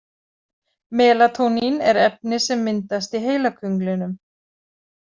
Melatónín er efni sem myndast í heilakönglinum.